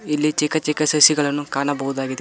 ಇಲ್ಲಿ ಚಿಕ್ಕ ಚಿಕ್ಕ ಸಸಿಗಳನ್ನು ಕಾಣಬಹುದಾಗಿದೆ.